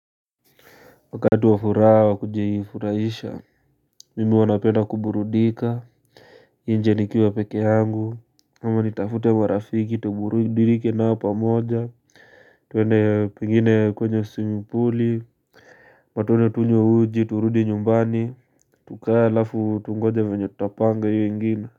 Wakati wa furaha kuji furaisha, mimi wana pena kuburudika, nje nikiwa pekee yangu, ama nitafute wa rafiki, tuburudike na upa moja, tuwene pingine kwenyo swmming puli, ama twende tunywe uji, turudini nyumbani, tukae afu tungoje mwenyotapanga hiyo ingine.